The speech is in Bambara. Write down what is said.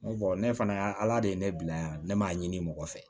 N ko ne fana y'a ala de ye ne bila yan ne m'a ɲini mɔgɔ fɛ